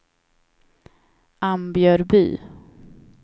Ambjörby